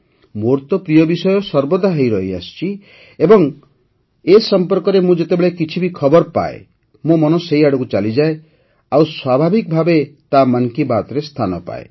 ମୋର ତ ପ୍ରିୟ ବିଷୟ ସର୍ବଦା ହୋଇ ରହିଆସିଛି ଏବଂ ଏ ସମ୍ପର୍କରେ ମୁଁ ଯେତେବେଳେ ବି କିଛି ଖବର ପାଏ ମୋ ମନ ସେହି ଆଡ଼କୁ ଚାଲିଯାଏ ଆଉ ସ୍ୱାଭାବିକ ଭାବେ ତାହା ମନ୍ କି ବାତ୍ରେ ସ୍ଥାନ ପାଏ